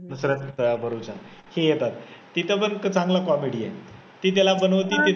नुसरत भरूचा अं हे येतात तिथे पण चांगला comedy आहे, ती त्याला बनवते